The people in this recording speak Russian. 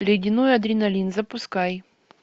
ледяной адреналин запускай